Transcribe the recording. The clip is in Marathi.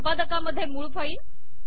संपादकामधे मूळ फाईल